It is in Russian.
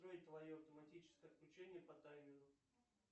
джой твое автоматическое отключение по таймеру